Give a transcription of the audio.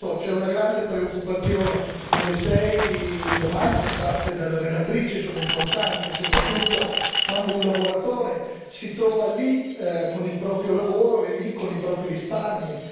Certo, c'è una grande preoccupazione e le sei domande fatte dalla relatrice sono importanti, soprattutto quando un lavoratore si trova lì con il proprio lavoro e lì con i propri risparmi.